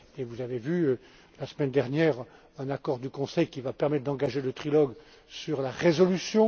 Et vous avez vu la semaine dernière un accord du Conseil qui va permettre d'engager le trilogue sur la résolution.